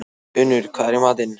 Unnur, hvað er í matinn?